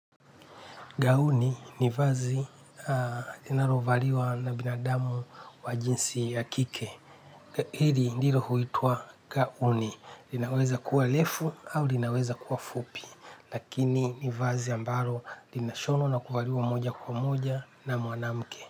Gauni ni vazi linalovaliwa na binadamu wa jinsi ya kike. Hili ndilo huitwa gauni. Linaweza kuwa refu au linaweza kuwa fupi. Lakini ni vazi ambalo linashonwa na kuvaliwa moja kwa moja na mwanamke.